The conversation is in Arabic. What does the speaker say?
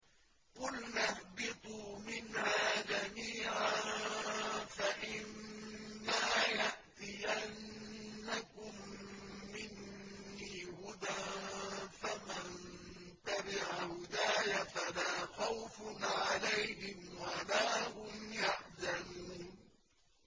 قُلْنَا اهْبِطُوا مِنْهَا جَمِيعًا ۖ فَإِمَّا يَأْتِيَنَّكُم مِّنِّي هُدًى فَمَن تَبِعَ هُدَايَ فَلَا خَوْفٌ عَلَيْهِمْ وَلَا هُمْ يَحْزَنُونَ